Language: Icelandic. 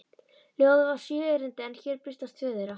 Ljóðið var sjö erindi en hér birtast tvö þeirra: